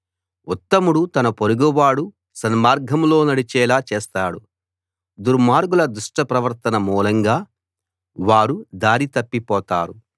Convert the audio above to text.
ఉత్తముడు తన పొరుగువాడు సన్మార్గంలో నడిచేలా చేస్తాడు దుర్మార్గుల దుష్ట ప్రవర్తన మూలంగా వారు దారి తప్పిపోతారు